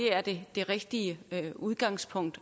er det rigtige udgangspunkt